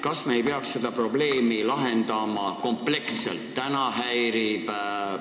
Kas me ei peaks seda probleemi lahendama kompleksselt?